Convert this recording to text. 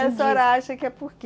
E a senhora acha que é por quê?